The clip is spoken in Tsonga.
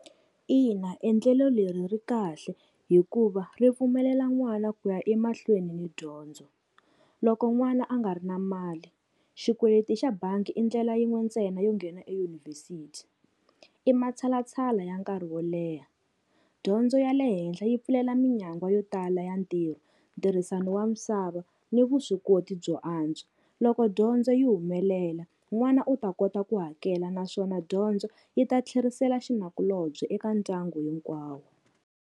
Ina endlelo leri ri kahle hikuva ri pfumelela n'wana ku ya emahlweni ni dyondzo. Loko n'wana a nga ri na mali xikweleti xa bangi i ndlela yin'we ntsena yo nghena eyunivhesiti. I matshalatshala ya nkarhi wo leha, dyondzo ya le henhla yi pfulela minyangwa yo tala ya ntirho, ntirhisano wa misava ni vuswikoti byo antswa. Loko dyondzo yi humelela n'wana u ta kota ku hakela naswona dyondzo yi ta tlherisela xinakulobye eka ndyangu hinkwawo.